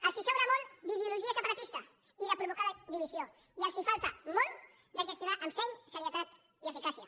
els en sobra molt d’ideologia separatista i de provocar divisió i els falta molt per gestionar amb seny serietat i eficàcia